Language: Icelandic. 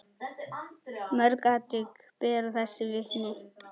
Mörg atvik bera þess vitni.